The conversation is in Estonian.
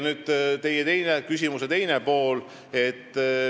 Nüüd teie küsimuse teine pool.